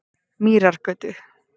Mýrargötu